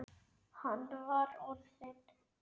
Hann var orðinn.